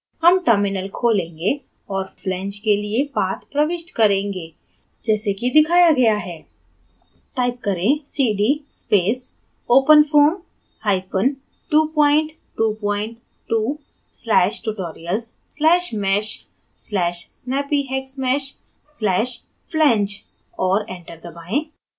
हम terminal flange और flange के लिए path प्रविष्ट करेंगे जैसे कि दिखाया गया है type करें: cd space openfoam222/tutorials/mesh/snappyhexmesh/flange और enter दबाएँ